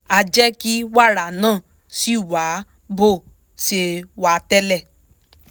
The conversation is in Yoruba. á jẹ́ kí wàrà náà ṣì wà bó ṣe wà tẹ́lẹ̀